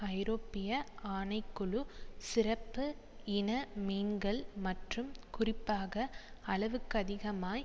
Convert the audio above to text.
ஐரோப்பிய ஆணை குழு சிறப்பு இன மீன்கள் மற்றும் குறிப்பாக அளவுக்கதிகமாய்